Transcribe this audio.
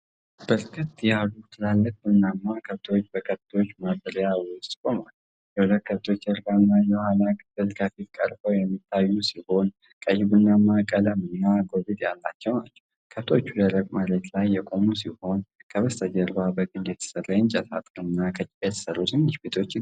በርከት ያሉ ትላልቅ ቡናማ ከብቶች በከብቶች ማደሪያ ውስጥ ቆመዋል። የሁለቱ ከብቶች ጀርባና የኋላ ክፍል ከፊት ቀርበው የሚታዩ ሲሆን፤ ቀይ-ቡናማ ቀለምና ጎብጥ ያላቸው ናቸው። ከብቶቹ ደረቅ መሬት ላይ የቆሙ ሲሆን፤ ከበስተጀርባ በግንድ የተሠራ የእንጨት አጥርና ከጭቃ የተሠሩ ትንንሽ ቤቶች ይገኛሉ።